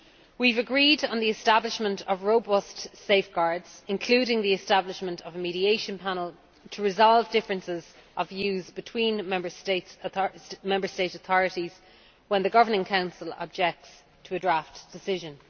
We have agreed on the establishment of robust safeguards, including the establishment of a mediation panel, to resolve differences of views between Member State authorities when the Governing Council objects to a draft decision.